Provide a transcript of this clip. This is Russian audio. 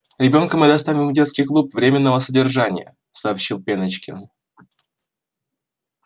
ребёнка мы доставим в детский клуб временного содержания сообщил пеночкин